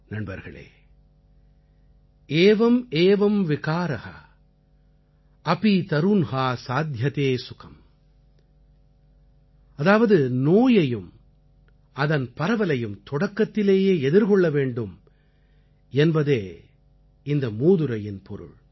நண்பர்களே एवं एवं विकारः अपी तरुन्हा साध्यते सुखं ஏவம் ஏவம் விகார அபி தருன்ஹா சாத்யதே சுகம் அதாவதுநோயையும் அதன் பரவலையும் தொடக்கத்திலேயே எதிர்கொள்ள வேண்டும் என்பதே இதன் பொருள்